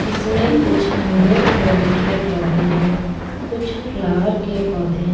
इसमें कुछ indoor plant के पौधे हैं कुछ फ्लॉवर के पौधे हैं --